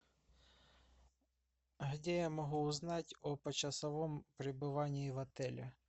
где я могу узнать о почасовом пребывании в отеле